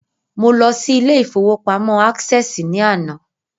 Mo lọ sí ilé ìfowópamọ́ Access ní àná